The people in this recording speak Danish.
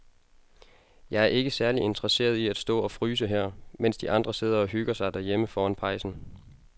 Jeg er ikke særlig interesseret i at stå og fryse her, mens de andre sidder og hygger sig derhjemme foran pejsen.